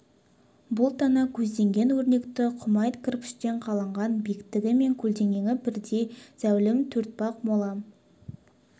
бұл тана көзденген өрнекті құмайт кірпіштен қаланған биіктігі мен көлденеңі бірдей зәулім төртпақ мола